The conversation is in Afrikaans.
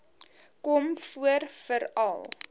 kom voor veral